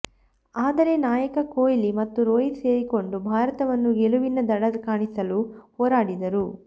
ಆದರೆ ನಾಯಕ ಕೊಹ್ಲಿ ಮತ್ತು ರೋಹಿತ್ ಸೇರಿಕೊಂಡು ಭಾರತವನ್ನು ಗೆಲುವಿನ ದಡ ಕಾಣಿಸಲು ಹೋರಾಡಿದರು